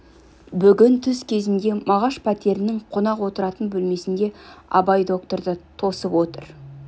бүгін түс кезінде мағаш пәтерінің қонақ отыратын бөлмесінде абай докторды тосып отыр